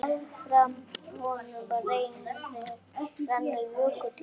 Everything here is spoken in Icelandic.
Meðfram honum rennur jökulá.